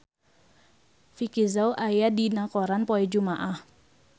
Vicki Zao aya dina koran poe Jumaah